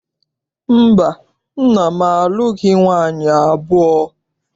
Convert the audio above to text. Mba, nna m alụghị nwaanyị abụọ.